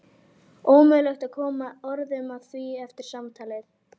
Ómögulegt að koma orðum að því eftir samtalið.